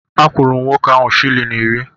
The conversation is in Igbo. Akwụrụ m nwoke ahụ shịlin iri